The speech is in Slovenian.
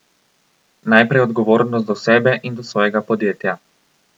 Najprej odgovornost do sebe in do svojega podjetja.